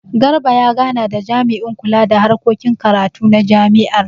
Garba ya gana da jami'in kula da harkokin karatu na jami'ar.